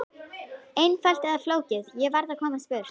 Einfalt eða flókið, ég varð að komast burt.